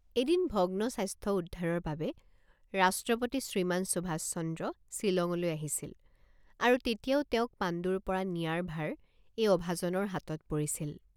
এদিন ভগ্নস্বাস্থ্য উদ্ধাৰৰ বাবে ৰাষ্ট্ৰপতি শ্ৰীমান সুভাষচন্দ্ৰ ছিলঙলৈ আহিছিল আৰু তেতিয়াও তেওঁক পাণ্ডুৰপৰা নিয়াৰ ভাৰ এই অভাজনৰ হাতত পৰিছিল।